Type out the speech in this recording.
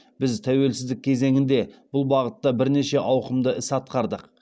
біз тәуелсіздік кезеңінде бұл бағытта бірнеше ауқымды іс атқардық